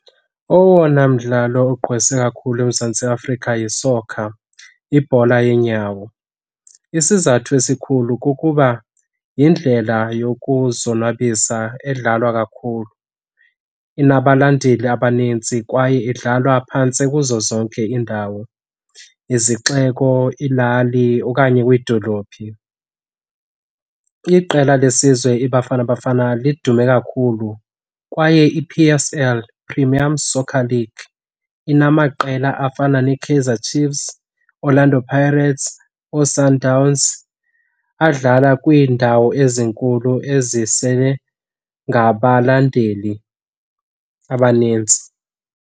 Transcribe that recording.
Owona mdlalo ugqwese kakhulu eMzantsi Afrika yisokha, ibhola yeenyawo. Isizathu esikhulu kukuba yindlela yokuzonwabisa edlalwa kakhulu, inabalandeli abanintsi kwaye idlalwa phantse kuzo zonke iindawo, izixeko, iilali okanye kwiidolophi. Iqela lesizwe iBafana Bafana lidume kakhulu kwaye i-P_S_L, Premium Soccer League, inamaqela afana neKaizer Chiefs, Orlando Pirates, ooSundowns adlala kwiindawo ezinkulu ezisele ngabalandeli abanintsi.